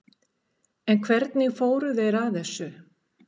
En hvernig fóru þeir að þessu?